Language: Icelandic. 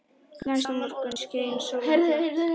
Næsta morgun skein sólin glatt.